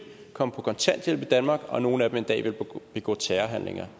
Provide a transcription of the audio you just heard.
komme på kontanthjælp i danmark og at nogle af dem en dag vil begå terrorhandlinger